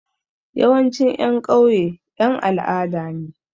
Yawancin ƴan ƙauye ƴan al'ada ne.